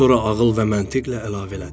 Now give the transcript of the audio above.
Sonra ağıl və məntiq ilə əlavə elədi.